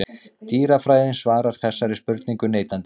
Dýrafræðin svarar þessari spurningu neitandi.